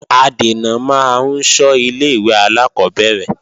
Adènà máa ń ṣọ́ ilé-ìwé alákọ́bẹ̀rẹ̀